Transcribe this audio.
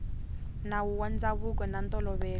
nawu wa ndzhavuko na ntolovelo